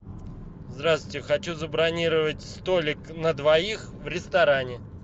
здравствуйте хочу забронировать столик на двоих в ресторане